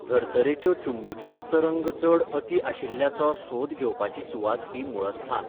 धर्तरेच्यो चुंबकीय तरंग चड अती आशिल्ल्याचो सोद घेवपाची सुवात ही मुळस्थान.